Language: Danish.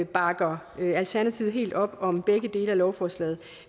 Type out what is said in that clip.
bakker alternativet helt op om begge dele af lovforslaget